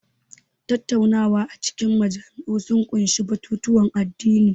Tattaunawa a cikin majami'u sun ƙunshi batutuwan addini.